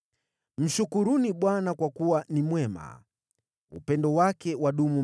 Mshukuruni Bwana kwa kuwa ni mwema; upendo wake wadumu milele.